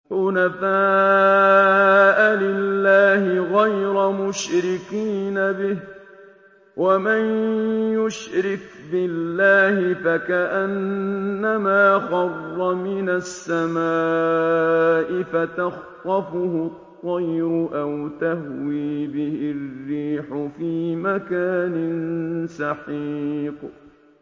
حُنَفَاءَ لِلَّهِ غَيْرَ مُشْرِكِينَ بِهِ ۚ وَمَن يُشْرِكْ بِاللَّهِ فَكَأَنَّمَا خَرَّ مِنَ السَّمَاءِ فَتَخْطَفُهُ الطَّيْرُ أَوْ تَهْوِي بِهِ الرِّيحُ فِي مَكَانٍ سَحِيقٍ